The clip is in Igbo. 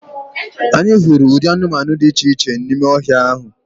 Anyị hụrụ ụdị anụmanụ dị iche iche n’ime ọhịa ahụ